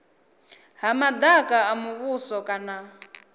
ha madaka a muvhuso kana